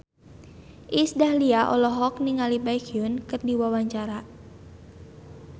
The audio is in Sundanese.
Iis Dahlia olohok ningali Baekhyun keur diwawancara